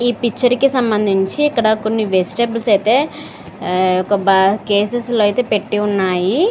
ఈ పిక్చర్ కి సంబంధించి ఇక్కడ కొన్ని వెజిటేబుల్స్ అయితే అ ఒక కేసెస్ లో అయితే పెట్టి ఉన్నాయి.